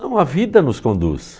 Não, a vida nos conduz.